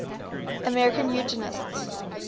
american eugenicists